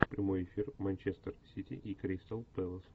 прямой эфир манчестер сити и кристал пэлас